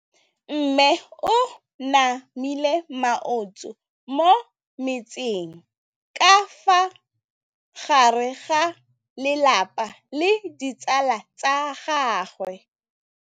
Mme o namile maoto mo mmetseng ka fa gare ga lelapa le ditsala tsa gagwe.